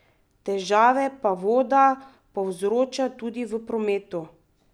Težave pa voda povzroča tudi v prometu.